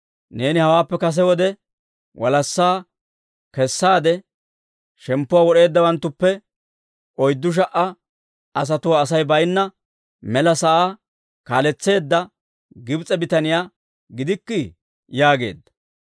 Neeni hawaappe kase wode, walassaa kessaade shemppuwaa wod'eeddawanttuppe oyddu sha"a asatuwaa Asay baynna mela sa'aa kaaletseedda Gibs'e bitaniyaa gidikkii?» yaageedda.